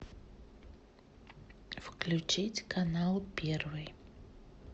включить канал первый